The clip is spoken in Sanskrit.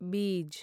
बीज्